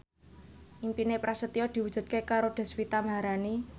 impine Prasetyo diwujudke karo Deswita Maharani